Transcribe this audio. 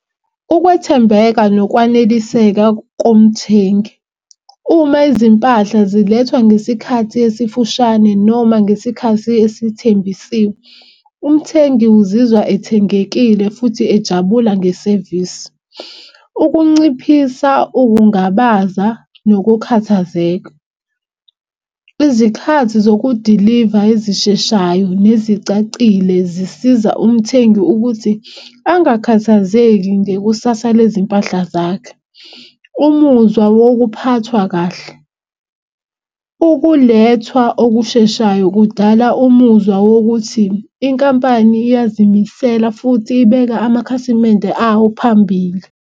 Ukwethembeka nokwaneliseka komthengi. Uma izimpahla zilethwa ngesikhathi esifushane noma ngesikhathi esithembisiwe, umthengi uzizwa ethengekile futhi ejabula ngesevisi. Ukunciphisa ukungabaza nokukhathazeka izikhathi zokudiliva ezisheshayo nezicacile zisiza umthengi ukuthi angakhathazeki ngekusasa lezimpahla zakhe. Umuzwa wokuphathwa kahle ukulethwa okusheshayo kudala umuzwa wokuthi inkampani iyazimisela futhi ibeka amakhasimende awo phambili.